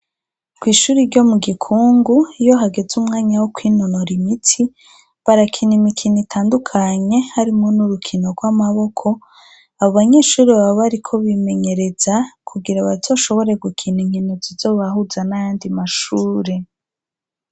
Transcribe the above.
Kwishuri ryo mu gikungu iyo hageze umwanya wo kwinonora imitsi barakina imikino itandukanye harimwo n'urukino rw'amaboko abo banyeshuri baba bariko bimenyereza kugira bazoshobore gukina inkino zibahuza n' ayandi mashure.